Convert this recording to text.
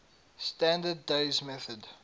standard days method